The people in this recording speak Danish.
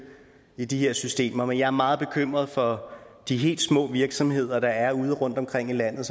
i de her systemer men jeg er meget bekymret for de helt små virksomheder der er ude rundtomkring i landet